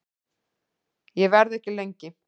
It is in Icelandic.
Ég verð ekki lengi